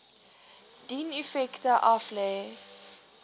dien effekte aflê